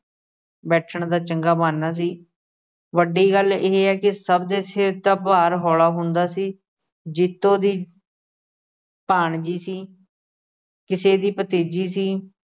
ਬੈਠਣ ਦਾ ਚੰਗਾ ਬਹਾਨਾ ਸੀ। ਵੱਡੀ ਗੱਲ ਇਹ ਹੈ ਕਿ ਸਭ ਦੇ ਸਿਰ ਦਾ ਭਾਰ ਹੌਲਾ ਹੁੰਦਾ ਸੀ। ਜੀਤੋ ਕਿਸੇ ਦੀ ਭਾਣਜੀ ਸੀ ਕਿਸੇ ਦੀ ਭਤੀਜੀ ਸੀ